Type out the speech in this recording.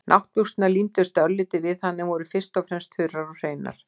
Náttbuxurnar límdust örlítið við hann en voru fyrst og fremst þurrar og hreinar.